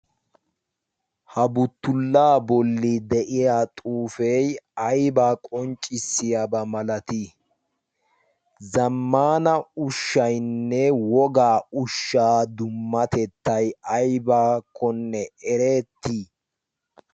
ha buttullaa bolli de7iya xuufee aibaa qonccissiyaabaa malatii? zammana ushshainne wogaa ushshaa dummatettai aibakkonne erettii?